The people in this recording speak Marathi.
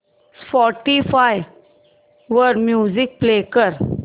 स्पॉटीफाय वर म्युझिक प्ले कर